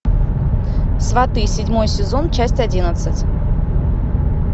сваты седьмой сезон часть одиннадцать